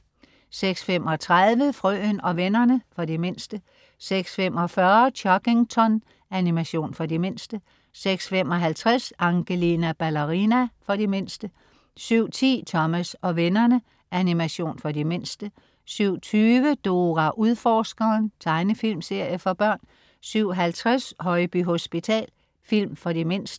06.35 Frøen og vennerne. For de mindste 06.45 Chuggington. Animation for de mindste 06.55 Angelina Ballerina. For de mindste 07.10 Thomas og vennerne. Animation for de mindste 07.20 Dora Udforskeren. Tegnefilmserie for børn 07.50 Højby hospital. Film for de mindste